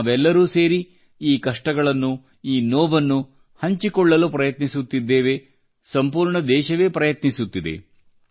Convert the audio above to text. ನಾವೆಲ್ಲರೂ ಸೇರಿ ಈ ಕಷ್ಟಗಳನ್ನು ಈ ನೋವನ್ನು ಹಂಚಿಕೊಳ್ಳಲು ಪ್ರಯತ್ನಿಸುತ್ತಿದ್ದೇವೆ ಸಂಪೂರ್ಣ ದೇಶವೇ ಪ್ರಯತ್ನಿಸುತ್ತಿದೆ